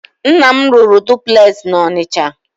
Nna m rụrụ dupules na Ọnịcha.